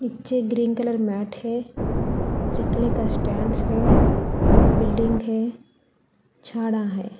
नीचे green colour mat है चकले का स्टैंड्स है बिल्डिंग है झाड़ा है।